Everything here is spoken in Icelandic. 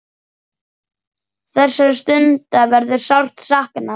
Þessara stunda verður sárt saknað.